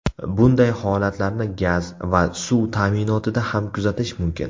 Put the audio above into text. Bunday holatlarni gaz va suv ta’minotida ham kuzatish mumkin.